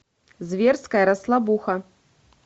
зверская расслабуха